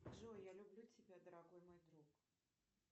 джой я люблю тебя дорогой мой друг